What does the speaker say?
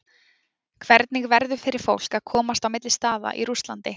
Hvernig verður fyrir fólk að komast á milli staða í Rússlandi?